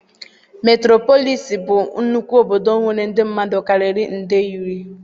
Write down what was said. Meturopolis bụ nnukwu obodo nwere ndị mmadụ karịrị nde iri.